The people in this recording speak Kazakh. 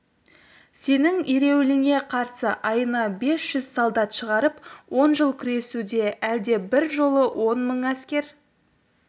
сенің ереуіліңе қарсы айына бес жүз солдат шығарып он жыл күресу де әлде бір жолы он мың әскер